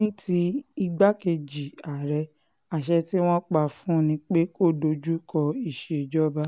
ní ti igbákejì àárẹ̀ àṣẹ tí wọ́n pa fún un ni pé kó dojú kọ ìṣèjọba